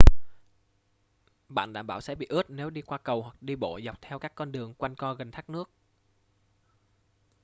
bạn đảm bảo sẽ bị ướt nếu đi qua cầu hoặc đi bộ dọc theo các con đường quanh co gần thác nước